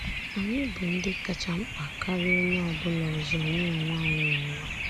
Anyị bụ ndị kacha mkpa karịa onye ọ bụla ọzọ nye onwe anyị n'ụwa a.